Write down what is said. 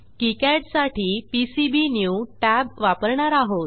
KiCad साठी PCB new tab वापरणार आहोत